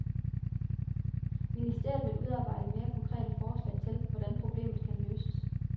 Ministeriet vil udarbejde mere konkrete forslag til, hvordan problemet kan løses.